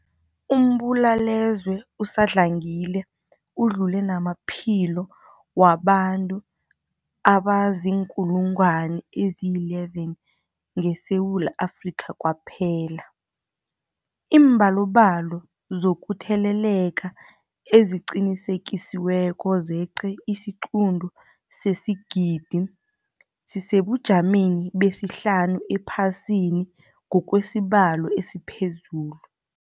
Umbulalazwe usadlangile udlule namaphilo wabantu abaziinkulungwana ezi-11 ngeSewula Afrika kwaphela. Iimbalobalo zokutheleleka eziqinisekisiweko zeqe isiquntu sesigidi, sisesebujameni besihlanu ephasini ngokwesibalo esiphezulu.